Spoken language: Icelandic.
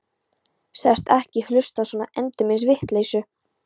Sagðist ekki hlusta á svona endemis vitleysu.